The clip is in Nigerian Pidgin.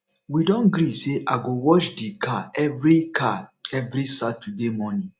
we don gree sey i go wash di car every car every saturday morning